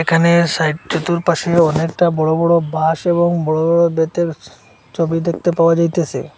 এখানে সাইড চতুর্পাশে অনেকটা বড় বড় বাঁশ এবং বড় বড় বেতের ছবি দেখতে পাওয়া যাইতেসে।